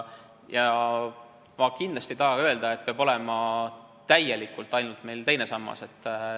Ma kindlasti ei taha öelda, et meil peab olema täielikult ainult teine sammas.